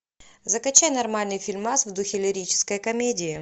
закачай нормальный фильмас в духе лирической комедии